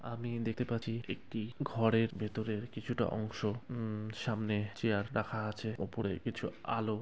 আমি দেখতে পাচ্ছি একটি ঘরের ভেতরের কিছুটা অংশ উম সামনে চেয়ার রাখা আছে ওপরে কিছু আলো ।